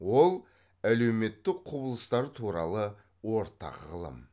ол әлеуметтік құбылыстар туралы ортақ ғылым